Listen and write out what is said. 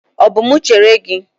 Ọ bụ mụ chere gị?